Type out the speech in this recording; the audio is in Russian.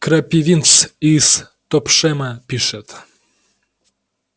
крапивинс из топшэма пишет